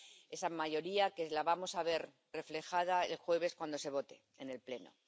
Esa mayoría la vamos a ver reflejada el jueves cuando se vote en el Pleno.